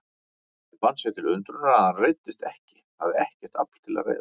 Hann fann sér til undrunar að hann reiddist ekki, hafði ekkert afl til að reiðast.